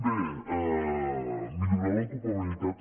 bé millorar l’ocupabilitat